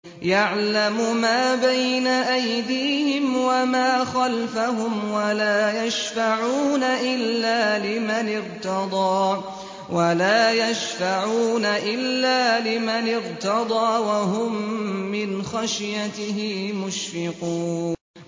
يَعْلَمُ مَا بَيْنَ أَيْدِيهِمْ وَمَا خَلْفَهُمْ وَلَا يَشْفَعُونَ إِلَّا لِمَنِ ارْتَضَىٰ وَهُم مِّنْ خَشْيَتِهِ مُشْفِقُونَ